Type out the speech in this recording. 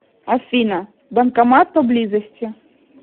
афина банкомат по близости